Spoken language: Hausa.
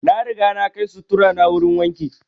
Na riga na kai sutturu na wurin wanki